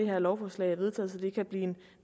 her lovforslag er vedtaget så det hurtigt kan blive